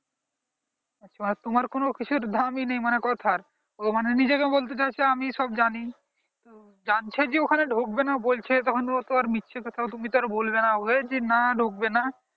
আচ্ছা তোমার কিছু মানে দামি নেই মানে কথা ও নিজেকে বলতে চাইছে আমি সব জানি জানতে যে ওখানে ঢুকবে না বলছে তখনও তো আর মিছে কথা আর বলবে না যে না ঢুকবে না